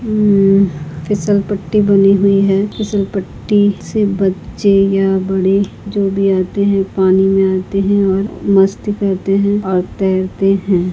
म फिसल पट्टी बनी हुई है फिसलपट्टी से बच्चे या बढ़े जो भी आते है पानी में आते है और मस्ती करते है और तैरते है।